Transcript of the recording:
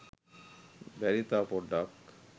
බැරිද තව පොඩ්ඩක්